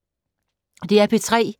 DR P3